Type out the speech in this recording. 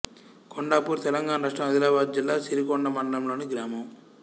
కొండాపూర్ తెలంగాణ రాష్ట్రం ఆదిలాబాద్ జిల్లా సిరికొండ మండలంలోని గ్రామం